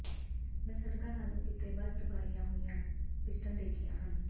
ਮੈਂ ਸੜਕਾਂ ਨਾਲੋਂ ਕਿਤੇ ਵੱਧ ਤਬਾਹੀਆਂ ਹੋਈਆਂ ਪਿਸਟਨ ਦੇਖੀਆਂ ਹਨ